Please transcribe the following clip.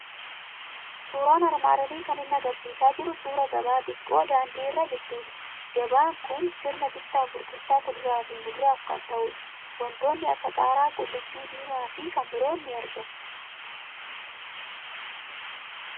Suuraan armaannolii kan inni argisiisaa jiru suuraa gabaa xiqqoo daandii irra jirtuuti. Gabaan kun sirna bittaa fi gurgurtaa kuduraa fi muduraaf kan ta'u dha. Waantonni akka qaaraa, qullubbi diimaa fi kan biroon ni argamu.